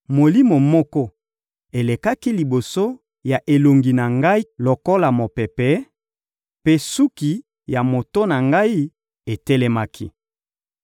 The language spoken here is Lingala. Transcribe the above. molimo moko elekaki liboso ya elongi na ngai lokola mopepe, mpe suki ya moto na ngai etelemaki.